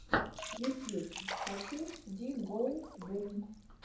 ютьюб хочу ди гоу бум